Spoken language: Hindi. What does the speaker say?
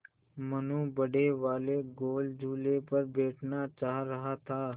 मनु बड़े वाले गोल झूले पर बैठना चाह रहा था